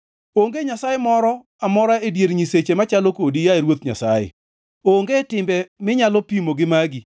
Onge nyasaye moro amora e dier nyiseche machalo kodi, yaye Ruoth Nyasaye; onge timbe minyalo pimo gi magi.